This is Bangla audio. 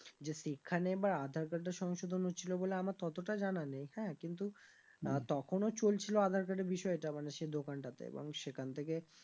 যে সেখানে এবার আধার card টা সংশোধন হচ্ছিলো বলে আমার ততটা জানা নেই হ্যাঁ কিন্তু মানে তখনও চলছিল আধার card এর বিষয় টা মানে সে দোকানটা তে এবং সেখান থেকে